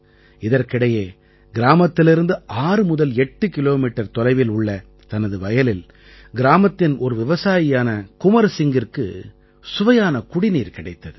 இதற்கிடையே கிராமத்திலிருந்து 6 முதல் 8 கிலோமீட்டர் தொலைவில் உள்ள தனது வயலில் கிராமத்தின் ஒரு விவசாயியான குன்வர் சிங்கிற்கு சுவையான குடிநீர் கிடைத்தது